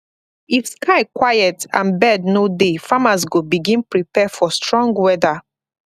if sky quiet and bird no dey farmers go begin prepare for strong weather